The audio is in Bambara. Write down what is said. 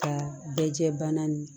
Ka bɛ jɛ bana nin